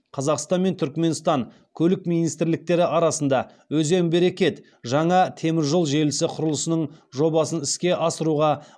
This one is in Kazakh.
қазақстан мен түрікменстан көлік министрліктері арасында өзен берекет жаңа темір жол желісі құрылысының жобасын іске асыруға